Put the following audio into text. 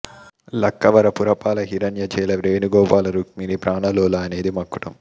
లక్కవర పురపాల హిరణ్య చేల వేణు గోపాల రుక్మిణీ ప్రాణ లోల అనేది మకుటం